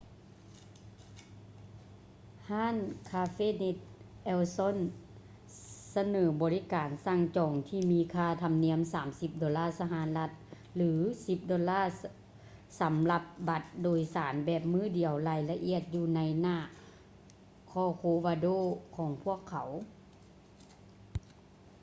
ຮ້ານ ຄາເຟ່ເນັດ ເອວ ຊອລ໌ cafenet el sol ສະເໜີບໍລິການສັ່ງຈອງທີ່ມີຄ່າທຳນຽມ 30 ໂດລາສະຫະລັດ ຫຼື 10 ໂດລາ ສຳລັບບັດໂດຍສານແບບມື້ດຽວ ລາຍລະອຽດຢູ່ໃນໜ້າ ຄໍໂຄວາໂດ corcovado ຂອງພວກເຂົາ